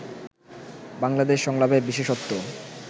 বাংলাদেশ সংলাপের বিশেষত্ব